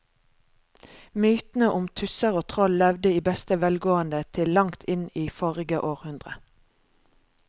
Mytene om tusser og troll levde i beste velgående til langt inn i forrige århundre.